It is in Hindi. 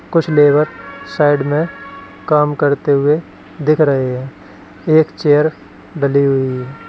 कुछ लेबर साइड में काम करते हुए दिख रहे हैं एक चेयर डली हुई है।